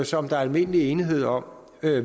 som der er almindelig enighed om